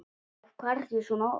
Af hverju svona oft?